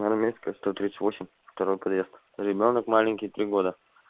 армейская сто тридцать восемь второй подъезд ребёнок маленький три года